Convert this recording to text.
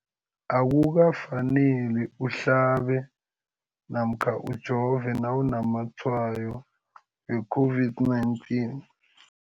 Akuka faneli uhlabe namkha ujove nawu namatshayo we-COVID-19.